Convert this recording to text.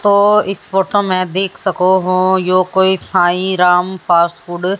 तो इस फोटो में देख सको हो यो कोई साईं राम फास्टफूड --